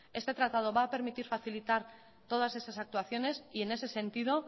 este tratado va a permitir facilitar todas esas actuaciones y en ese sentido